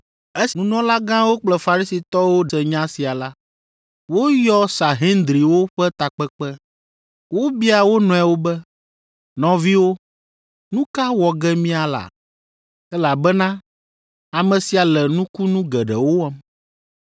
Esi nunɔlagãwo kple Farisitɔwo se nya sia la, woyɔ Sahendriwo ƒe takpekpe. Wobia wo nɔewo be, “Nɔviwo, nu ka wɔ ge míala? Elabena ame sia le nukunu geɖewo wɔm.